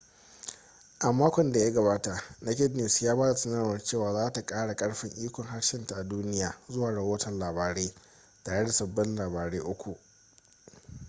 a makon da ya gabata naked news ya ba da sanarwar cewa za ta kara karfin ikon harshenta a duniya zuwa rahoton labarai tare da sabbin labarai uku